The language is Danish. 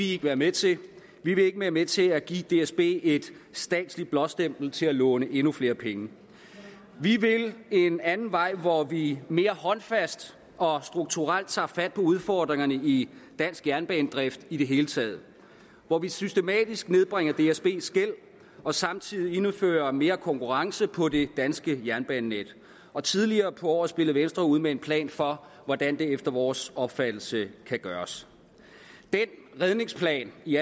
ikke være med til vi vil ikke være med til at give dsb et statsligt blåstempel til at låne endnu flere penge vi vil en anden vej hvor vi mere håndfast og strukturelt tager fat på udfordringerne i dansk jernbanedrift i det hele taget og hvor vi systematisk nedbringer dsbs gæld og samtidig indfører mere konkurrence på det danske jernbanenet og tidligere på året spillede venstre ud med en plan for hvordan det efter vores opfattelse kan gøres den redningsplan i